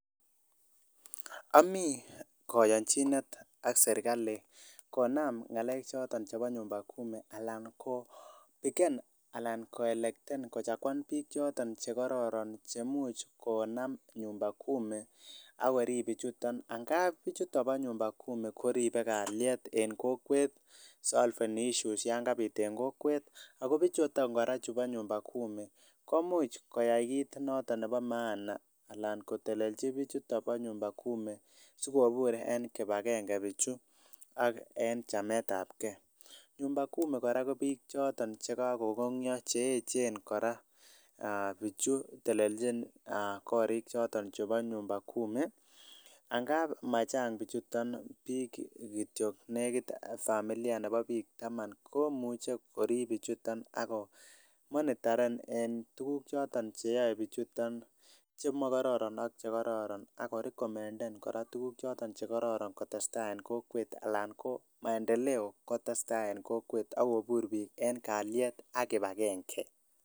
Ami kayanjinet ak serikalit konam ngalek choton chebo nyumba Kumi anan koelekten bik choton cheimuch konam nyumba Kumi akorib bichuton amun bichuton ba nyumba Kumi koribe kaliet en kokwet solveni issues yangabit en kokwet ak kobichon koraa ba nyumba Kumi komuch koyai kit noton Nebo maana anan kotelenji bichuton ba nyumba Kumi sikobur en kibagenge buchu aknen chamet ab gei nyumba Kumi koraa Koba bik chotet kagogongia cheyechen kora bichu telenjin korik choton chebo nyumba Kumi angab majang bichuton bik kityo nekit familia Cheba bik Taman komuche korib bichuton ak monitaren en tuguk cheyai bichuton chemakaroron ako rekomenden tuguk chekororon kotestai en kokwet anan maendeleo kotestai en kokwet en kaliet ak kibagenge